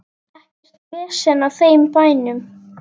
Ekkert vesen á þeim bænum.